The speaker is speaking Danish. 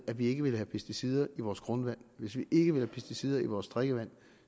at vi ikke vil have pesticider i vores grundvand hvis vi ikke vil have pesticider i vores drikkevand